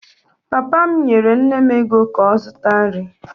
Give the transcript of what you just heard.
Papa m nyere nne m ego ka ọ zụta nri.